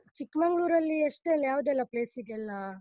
ಚಿಕ್ಮಂಗ್ಳೂರಲ್ಲಿ ಅಷ್ಟ್ರಲ್ಲಿ ಯಾವುದೆಲ್ಲ place ಗೆಲ್ಲ?